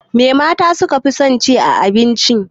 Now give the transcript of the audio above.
Me mata su ka fi son ci a abinci?